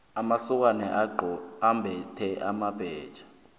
amasokana ambethe amabhetjha